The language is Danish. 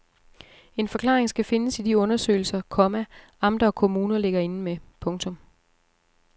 En forklaring skal findes i de undersøgelser, komma amter og kommuner ligger inde med. punktum